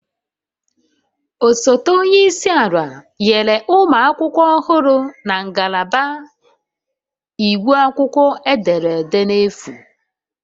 Osote onye isi ala nyere ụmụ akwụkwọ ọhụrụ na ngalaba iwu akwụkwọ ederede n'efu